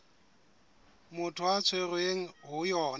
motho a tshwerweng ho yona